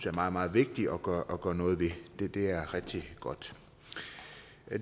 er meget meget vigtigt at gøre noget ved det er rigtig godt